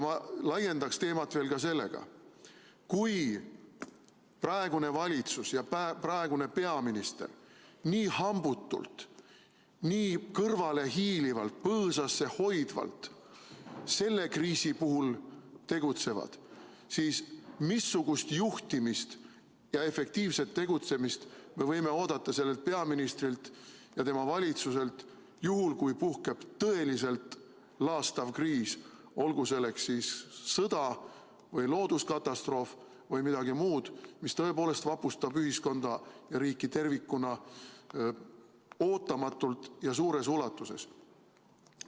Ma laiendan teemat veel sellega: kui praegune valitsus ja praegune peaminister nii hambutult, nii kõrvale hiilivalt, põõsasse hoidvalt selle kriisi puhul tegutsevad, siis missugust juhtimist ja efektiivset tegutsemist me võime oodata sellelt peaministrilt ja tema valitsuselt juhul, kui puhkeb tõeliselt laastav kriis – olgu selleks siis sõda või looduskatastroof või midagi muud, mis tõepoolest vapustab ühiskonda ja riiki tervikuna ootamatult ja suures ulatuses?